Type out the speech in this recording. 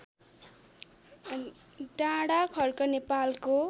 डाँडाखर्क नेपालको